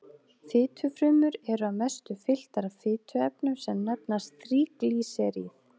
Fitufrumur eru að mestu fylltar af fituefnum sem nefnast þríglýseríð.